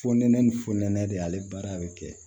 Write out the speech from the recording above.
Fo nɛnɛ ni fo nɛnɛ de ale baara bɛ kɛ